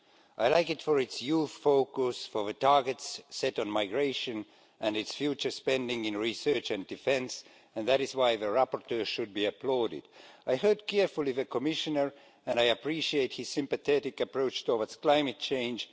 I like it for its youth focus, for the targets set on migration and its future spending in research and defence, and that is why the rapporteur should be applauded. I heard carefully the Commissioner and I appreciate his sympathetic approach towards climate change.